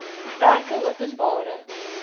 werkeopenbare